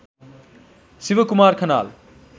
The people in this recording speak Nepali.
शिव कुमार खनाल